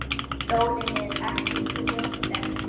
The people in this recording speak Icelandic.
Sólin er svo sterk.